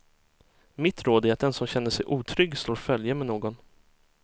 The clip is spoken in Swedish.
Mitt råd är att den som känner sig otrygg slår följe med någon.